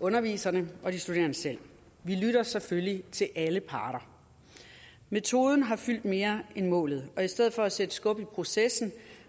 underviserne og de studerende selv vi lytter selvfølgelig til alle parter metoden har fyldt mere end målet og i stedet for at sætte skub i processen